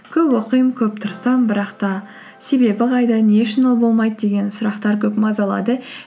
көп оқимын көп тырысамын бірақ та себебі қайда не үшін ол болмайды деген сұрақтар көп мазалады